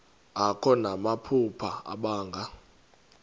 akho namaphupha abanga